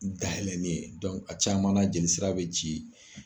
Daɛlɛnen dɔnku a caman na jelisira be ci